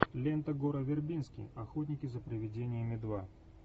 лента гора вербински охотники за привидениями два